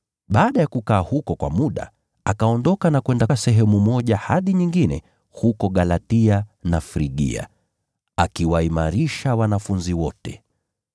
Baada ya kukaa huko kwa muda, akaondoka na kwenda sehemu moja hadi nyingine huko Galatia na Frigia, akiwaimarisha wanafunzi wote.